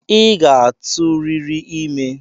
I ga-atụ riri ime!